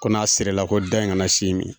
Ko n'a serera la ko dɔ in kana s'i ma.